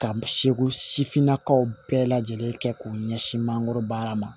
Ka seko sifinnakaw bɛɛ lajɛlen kɛ k'u ɲɛsin mangoro baara ma